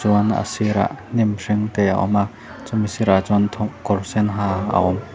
chuan a sirah hnim hring te a awm a chumi sirah chuan thaw-kawr sen ha a awm.